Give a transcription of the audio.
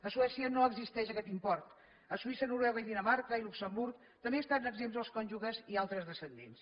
a suècia no existeix aquest impost a suïssa noruega dinamarca i luxemburg també n’estan exempts els cònjuges i altres descendents